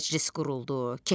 Məclis quruldu,